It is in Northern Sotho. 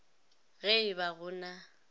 ge e ba go na